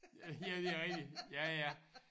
Ja det rigtigt ja ja